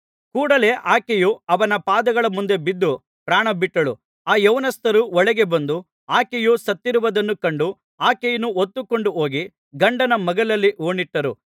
ಕೂಡಲೆ ಆಕೆಯು ಅವನ ಪಾದಗಳ ಮುಂದೆ ಬಿದ್ದು ಪ್ರಾಣಬಿಟ್ಟಳು ಆ ಯೌವನಸ್ಥರು ಒಳಗೆ ಬಂದು ಆಕೆಯು ಸತ್ತಿರುವುದನ್ನು ಕಂಡು ಆಕೆಯನ್ನು ಹೊತ್ತುಕೊಂಡು ಹೋಗಿ ಗಂಡನ ಮಗ್ಗುಲಲ್ಲಿ ಹೂಣಿಟ್ಟರು